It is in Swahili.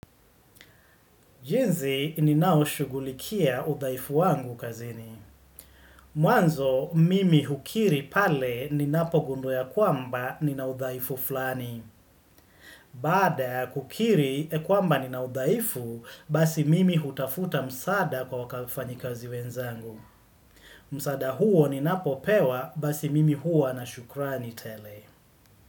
Jinsi ninaoshughulikia udhaifu wangu kazini. Mwanzo, mimi hukiri pale ninapogundua ya kwamba nina udhaifu fulani. Baada, kukiri kwamba nina udhaifu, basi mimi hutafuta msaada kwa wafanyikazi wenzangu. Msaada huo ninapopewa, basi mimi hua na shukrani tele.